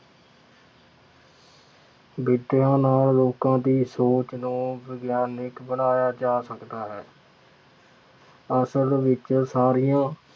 ਵਿੱਦਿਆ ਨਾਲ ਲੋਕਾਂ ਦੀ ਸੋਚ ਨੂੰ ਵਿਗਿਆਨਕ ਬਣਾਇਆ ਜਾ ਸਕਦਾ ਹੈ। ਅਸਲ ਵਿੱਚ ਸਾਰੀਆਂ